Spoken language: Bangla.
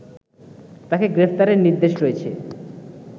তাকে গ্রেফতারের নির্দেশ রয়েছে